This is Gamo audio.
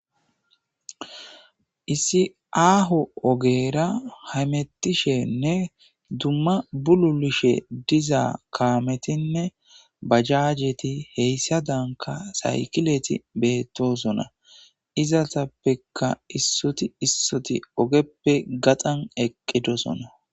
Issi aaho ogera hamettishenne dumma bululishe dizaa kaametinne bajaajeti heyssa danka saykileti beettosona izatappeka issoti issoti ogeppe gaxan eqqidosona